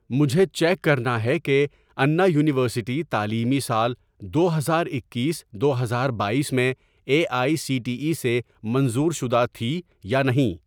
مجھے چیک کرنا ہے کہ انا یونیورسٹی تعلیمی سال دو ہزار اکیس دو ہزار بایس میں A I C T E سے منظور شدہ تھی یا نہیں